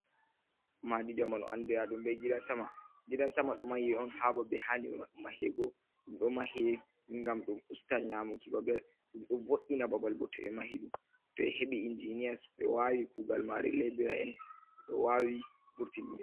Madi zamanu andira ɗum be gida sama, gida sama ɗo mahi on hababe handi mahego, ɗum ɗo mahe gam ɗum usta nyamuki bababol, ɗum do vo’’ina babal, bo to ɓe mahi ɗum, to e heɓi injiniiyas ɓe wawi kuugal mare lebira'en ɗo wawi furtinni.